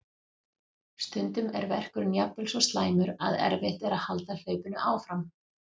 Stundum er verkurinn jafnvel svo slæmur að erfitt er að halda hlaupinu áfram.